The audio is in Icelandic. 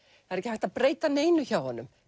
það er ekki hægt að breyta neinu hjá honum